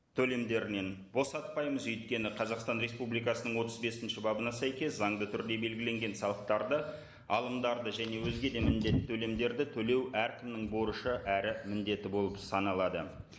төлемдерінен босатпаймыз өйткені қазақстан республикасының отыз бесінші бабына сәйкес заңды түрде белгіленген салықтарды алымдарды және өзге де міндетті төлемдерді төлеу әркімнің борышы әрі міндеті болып саналады